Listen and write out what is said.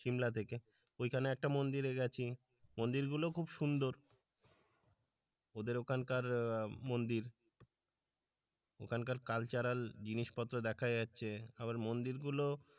সিমলা থেকে ওইখানে একটা মন্দিরে গেছি মন্দির গুলো খুব সুন্দর ওদের ওখানকার মন্দির ওখানকার কালচারাল জিনিসপত্র দেখা যাচ্ছে আবার মন্দির গুলো,